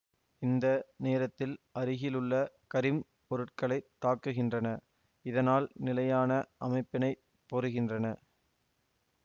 இந்த நேரத்தில் அருகிலுள்ள கரிம்ப் பொருட்களைத் தாக்குகின்றன இதனால் நிலையான அமைப்பினைப் பொறுகின்றன